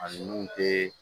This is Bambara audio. A ninnu te